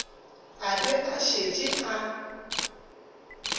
a be a šetše a